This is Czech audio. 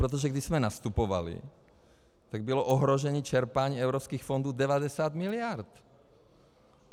Protože když jsme nastupovali, tak bylo ohrožení čerpání evropských fondů 90 miliard.